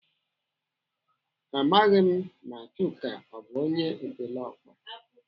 Amaghị m ma Chuka ọ bụ onye epeleọkpa.